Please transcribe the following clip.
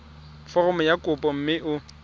foromo ya kopo mme o